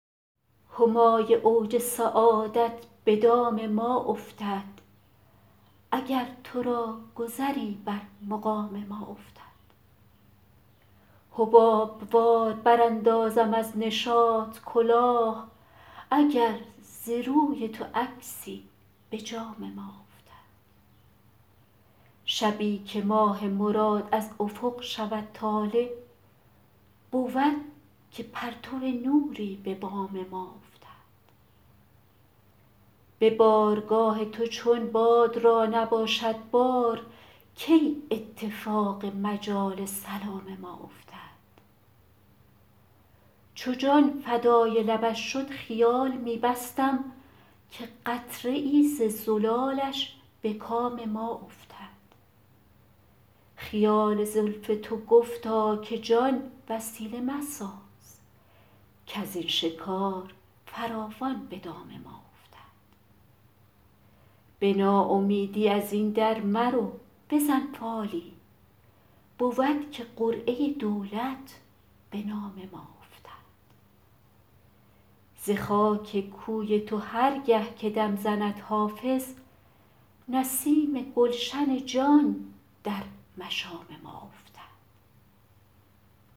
همای اوج سعادت به دام ما افتد اگر تو را گذری بر مقام ما افتد حباب وار براندازم از نشاط کلاه اگر ز روی تو عکسی به جام ما افتد شبی که ماه مراد از افق شود طالع بود که پرتو نوری به بام ما افتد به بارگاه تو چون باد را نباشد بار کی اتفاق مجال سلام ما افتد چو جان فدای لبش شد خیال می بستم که قطره ای ز زلالش به کام ما افتد خیال زلف تو گفتا که جان وسیله مساز کز این شکار فراوان به دام ما افتد به ناامیدی از این در مرو بزن فالی بود که قرعه دولت به نام ما افتد ز خاک کوی تو هر گه که دم زند حافظ نسیم گلشن جان در مشام ما افتد